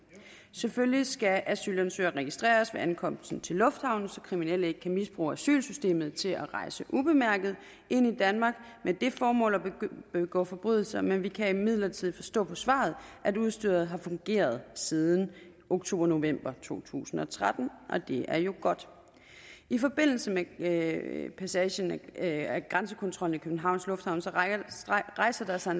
selvfølgelig skal asylansøgere registreres ved ankomsten til lufthavnen så kriminelle ikke kan misbruge asylsystemet til at rejse ubemærket ind i danmark med det formål at begå forbrydelser men vi kan imidlertid forstå på svaret at udstyret har fungeret siden oktober november to tusind og tretten og det er jo godt i forbindelse med med passagen af grænsekontrollen i københavns lufthavne rejser der sig